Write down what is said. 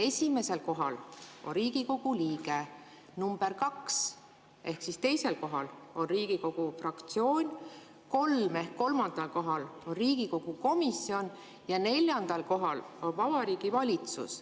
Esimesel kohal on Riigikogu liige, number kaks ehk teisel kohal on Riigikogu fraktsioon, kolm ehk kolmandal kohal on Riigikogu komisjon ja neljandal kohal on Vabariigi Valitsus.